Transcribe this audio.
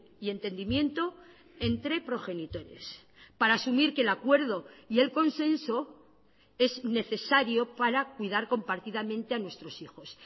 y entendimiento entre progenitores para asumir que el acuerdo y el consenso es necesario para cuidar compartidamente a nuestros hijos